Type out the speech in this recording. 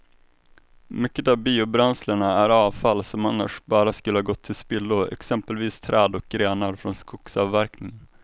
Mycket av biobränslena är avfall som annars bara skulle gå till spillo, exempelvis träd och grenar från skogsavverkningen.